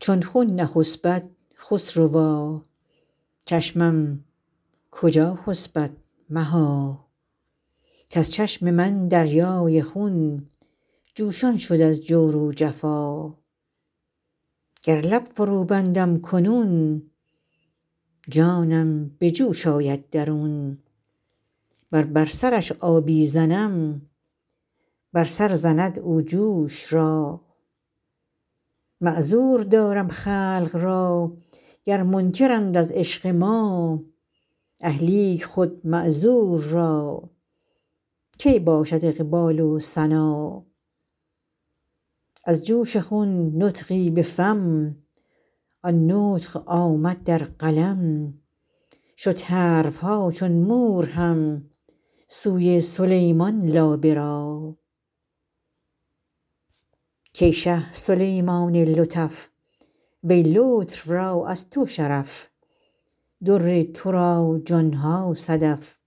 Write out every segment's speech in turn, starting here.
چون خون نخسپد خسروا چشمم کجا خسپد مها کز چشم من دریای خون جوشان شد از جور و جفا گر لب فروبندم کنون جانم به جوش آید درون ور بر سرش آبی زنم بر سر زند او جوش را معذور دارم خلق را گر منکرند از عشق ما اه لیک خود معذور را کی باشد اقبال و سنا از جوش خون نطقی به فم آن نطق آمد در قلم شد حرف ها چون مور هم سوی سلیمان لابه را کای شه سلیمان لطف وی لطف را از تو شرف در تو را جان ها صدف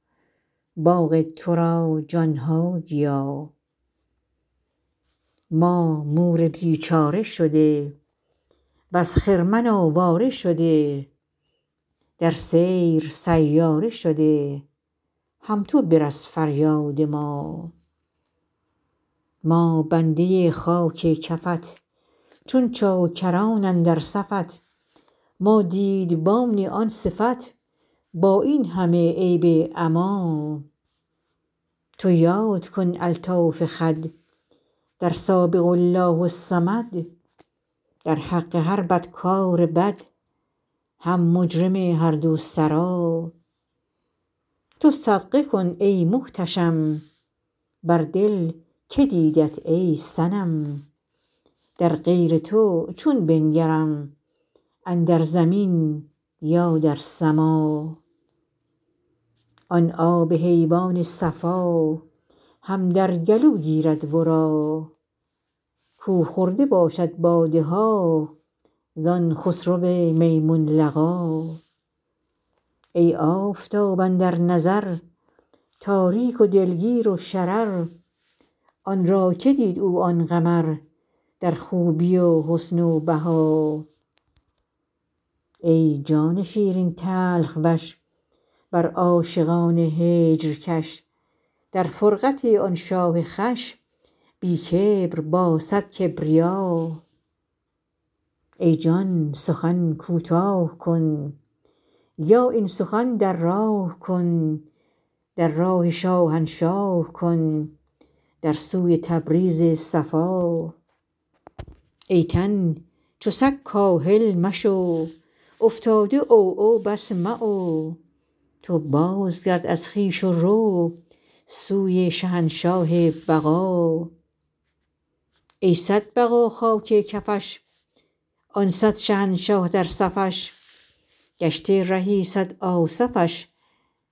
باغ تو را جان ها گیا ما مور بیچاره شده وز خرمن آواره شده در سیر سیاره شده هم تو برس فریاد ما ما بنده خاک کفت چون چاکران اندر صفت ما دیدبان آن صفت با این همه عیب عما تو یاد کن الطاف خود در سابق الله الصمد در حق هر بدکار بد هم مجرم هر دو سرا تو صدقه کن ای محتشم بر دل که دیدت ای صنم در غیر تو چون بنگرم اندر زمین یا در سما آن آب حیوان صفا هم در گلو گیرد ورا کو خورده باشد باده ها زان خسرو میمون لقا ای آفتاب اندر نظر تاریک و دلگیر و شرر آن را که دید او آن قمر در خوبی و حسن و بها ای جان شیرین تلخ وش بر عاشقان هجر کش در فرقت آن شاه خوش بی کبر با صد کبریا ای جان سخن کوتاه کن یا این سخن در راه کن در راه شاهنشاه کن در سوی تبریز صفا ای تن چو سگ کاهل مشو افتاده عوعو بس معو تو بازگرد از خویش و رو سوی شهنشاه بقا ای صد بقا خاک کفش آن صد شهنشه در صفش گشته رهی صد آصفش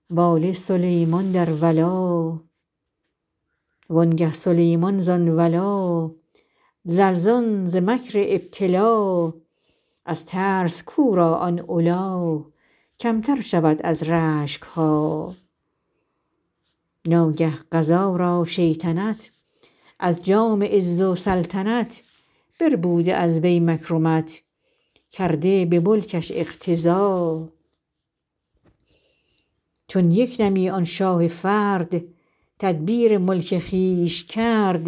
واله سلیمان در ولا وانگه سلیمان زان ولا لرزان ز مکر ابتلا از ترس کو را آن علا کمتر شود از رشک ها ناگه قضا را شیطنت از جام عز و سلطنت بربوده از وی مکرمت کرده به ملکش اقتضا چون یک دمی آن شاه فرد تدبیر ملک خویش کرد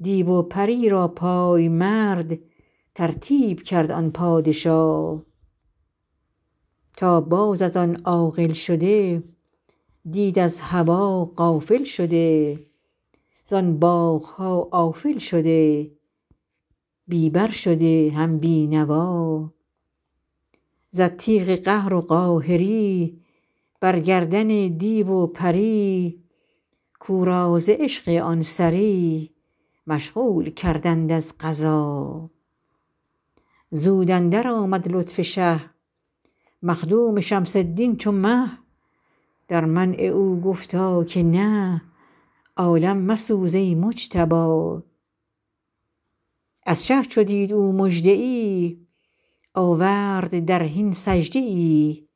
دیو و پری را پای مرد ترتیب کرد آن پادشا تا باز از آن عاقل شده دید از هوا غافل شده زان باغ ها آفل شده بی بر شده هم بی نوا زد تیغ قهر و قاهری بر گردن دیو و پری کو را ز عشق آن سری مشغول کردند از قضا زود اندرآمد لطف شه مخدوم شمس الدین چو مه در منع او گفتا که نه عالم مسوز ای مجتبا از شه چو دید او مژده ای آورد در حین سجده ای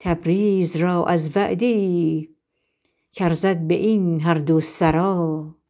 تبریز را از وعده ای کارزد به این هر دو سرا